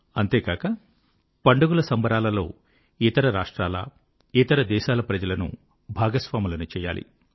అంతేకాక పండుగల సంబరాలలో ఇతర రాష్ట్రాల ఇతర దేశాల ప్రజలను భాగస్వాములను చేయాలి